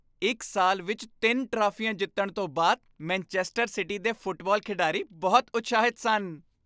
ਇੱਕ ਸਾਲ ਵਿੱਚ ਤਿੰਨ ਟਰਾਫੀਆਂ ਜਿੱਤਣ ਤੋਂ ਬਾਅਦ ਮੈਨਚੈਸਟਰ ਸਿਟੀ ਦੇ ਫੁੱਟਬਾਲ ਖਿਡਾਰੀ ਬਹੁਤ ਉਤਸ਼ਾਹਿਤ ਸਨ